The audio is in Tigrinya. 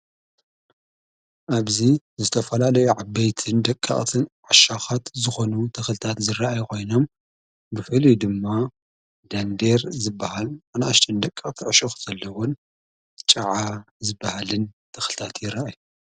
ኣብዙ ዝተፈላ ደኢዓበይትን ደቂቐትን ዓሻኻት ዝኾኑ ተኽልታት ዝረኢ ይኾይኖም ብፈልዩ ድማ ዳንድር ዝበሃል ኣናእሽተን ደቂቐቲ ዕሸኹ ዘለዉን ጨዓ ዝበሃልን ተኽልታት ይረኣዩ።